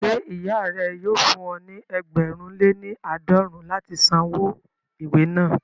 Ṣé ìyá rẹ yóò fún ọ ní ẹgbẹ̀rún lé ní àádọ́rùn-ún láti san owó ìwé náà